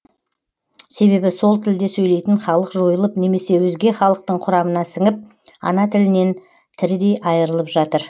себебі сол тілде сөйлейтін халық жойылып немесе өзге халықтың құрамына сіңіп ана тілінен тірідей айырылып жатыр